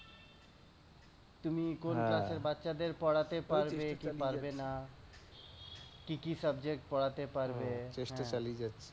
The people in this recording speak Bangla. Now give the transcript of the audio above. তুমি কোন ক্লাস এর বাচ্ছাদের পড়াতে পারবে কি পারবে না, কি কি subject পড়াতে পারবে